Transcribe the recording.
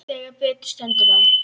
Þegar betur stendur á